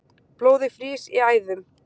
Blóðið frýs í æðum